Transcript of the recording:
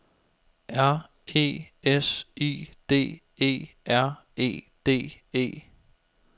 R E S I D E R E D E